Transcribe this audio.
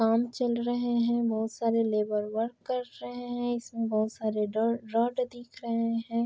काम चल रहे हैं। बहुत सारे लेबर वर्क कर रहे हैं। इसमें बहुत सारे रॉड रॉड दिख रहे हैं।